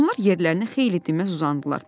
Onlar yerlərinə xeyli dinməz uzandılar.